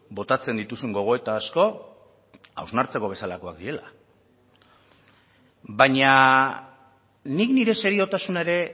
botatzen dituzun gogoeta asko hausnartzeko bezalakoak direla baina nik nire seriotasuna ere